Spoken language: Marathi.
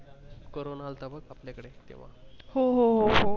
corona आलता बग आपल्या कडे तेव्हा हो हो हो हो